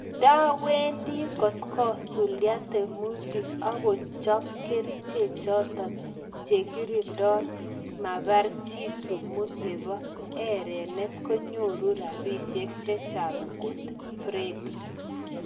Ndawendi kotkosuldaa tiemutik agochop kericheek chotok chekirindoi mapar chii sumuu neboo erenet konyoruu rapisiek chechang kot friede